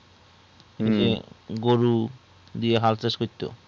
গরু দিয়ে হাল চাষ করতো